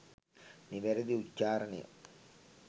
නිවැරැදි උච්චාරණය